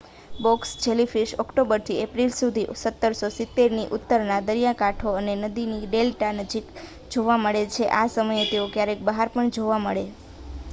box jellyfish ઓક્ટોબરથી April સુધી 1770ની ઉત્તરમાં દરિયાકાંઠો અને નદીની ડેલ્ટા નજીક જોવા મળે છે આ સમયે તેઓ ક્યારેક બહાર પણ જોવા મળે